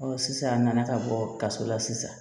sisan a nana ka bɔ kaso la sisan